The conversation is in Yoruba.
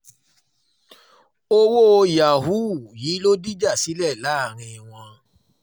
owó yahoo um yìí ló dìjà sílẹ̀ láàrin wọn